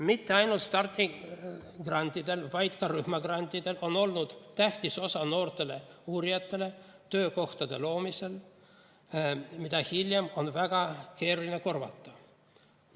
Mitte ainult stardigrantidel, vaid ka rühmagrantidel on olnud tähtis osa noortele uurijatele töökohtade loomisel, mida hiljem on väga keeruline korvata.